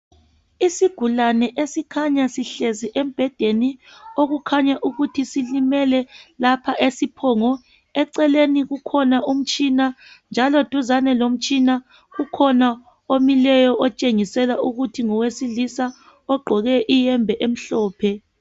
Isigulani esikhanya sihlezi embhedeni okukhanya ukuthi silimele lapha esiphongo. Eceleni kukhona umtshina njalo duzane lomtshina kukhona omileyo otshengisela ukuthi ngowesilisa ogqoke iyembe emhlophe.